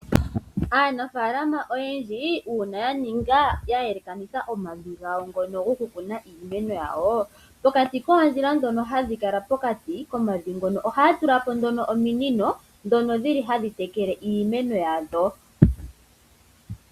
Aanafaalama oyendji uuna ya yelekanitha omavi gawo ngono gokukuna iimeno yawo, pokati koondjila ndhono hadhi kala pokati komavi ngono ohaya tula po nduno ominino ndhono hadhi tekele iimeno yadho.